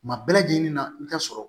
Kuma bɛɛ lajɛlen na i bɛ taa sɔrɔ